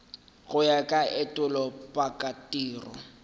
go ya ka etulo pakatiro